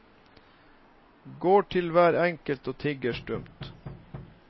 Går til hver enkelt og tigger stumt.